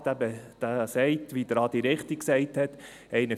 Dieser besagt, wie es Adi Haas richtig gesagt hat, 41 Stunden.